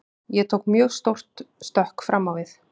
Ég tók mjög stórt stökk fram á við.